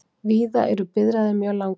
Víða eru biðraðir mjög langar